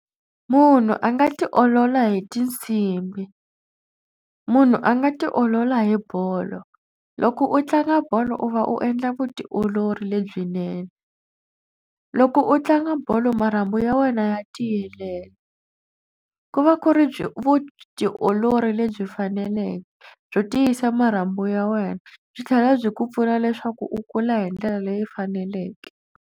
Munhu a nga tiolola hi tinsimbi. Munhu a nga tiolola hi bolo loko u tlanga bolo u va u endla vutiolori lebyinene. Loko u tlanga bolo marhambu ya wena ya tiyelela ku va ku ri byi vutiolori lebyi faneleke byo tiyisa marhambu ya wena byi tlhela byi ku pfuna leswaku u kula hi ndlela leyi faneleke.